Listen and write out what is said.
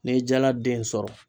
Ne ye jala den sɔrɔ